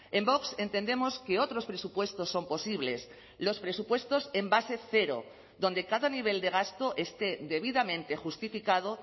en vox entendemos que otros presupuestos son posibles los presupuestos en base cero donde cada nivel de gasto esté debidamente justificado